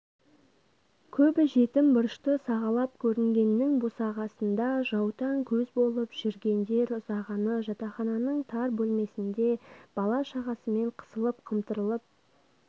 көбі жетім бұрышты сағалап көірнгеннің босағасында жаутаң көз болып жүргендер ұзағаны жатақхананың тар бөлмесінде бала-шағасымен қысылып-қымтырылып